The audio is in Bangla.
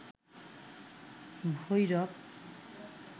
ভৈরব